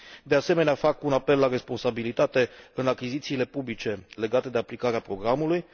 De asemenea, fac un apel la responsabilitate în achizițiile publice legate de aplicarea programului.